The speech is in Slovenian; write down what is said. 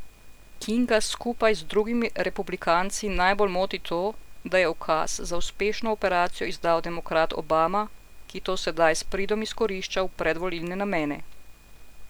Kinga skupaj z drugimi republikanci najbolj moti to, da je ukaz za uspešno operacijo izdal demokrat Obama, ki to sedaj s pridom izkorišča v predvolilne namene.